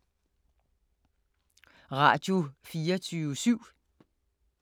Radio24syv